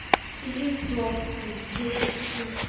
яйцо десять штук